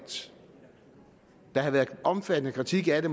der havde været en omfattende kritik af